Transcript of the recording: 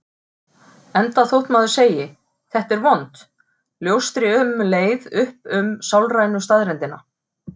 Enda þótt maður sem segi: Þetta er vont ljóstri um leið upp um sálrænu staðreyndina.